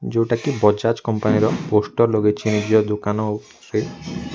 ଯୋଉଟାକି ବଜାଜ କମ୍ପାନୀ ର ପୋଷ୍ଟର ଲଗେଇଛି ନିଜ ଦୋକାନ ଉପରେ।